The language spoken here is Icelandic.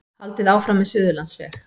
Haldið áfram með Suðurlandsveg